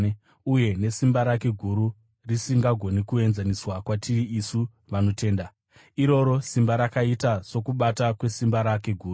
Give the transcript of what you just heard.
uye nesimba rake guru risingagoni kuenzaniswa kwatiri isu vanotenda. Iroro simba rakaita sokubata kwesimba rake guru,